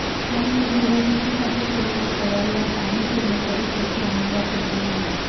त्यामुळे निवडणुकीसाठी केलेल्या तयारीवर पाणी फिरले तरी त्याची आम्हाला चिंता नाही